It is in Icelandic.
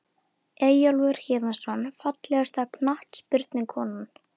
Eyjólfur Héðinsson Fallegasta knattspyrnukonan?